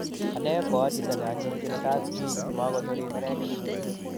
Ane ko achito ne anyonjini kaaat pik, makonori neregek